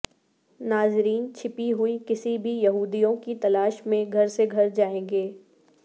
ناظرین چھپی ہوئی کسی بھی یہودیوں کی تلاش میں گھر سے گھر جائیں گے